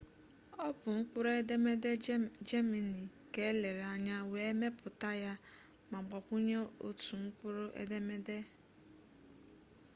ọ bụ mkpụrụ edemede jemani ka elere anya wee mepụta ya ma gbakwunye otu mkpụrụ edemede õ/õ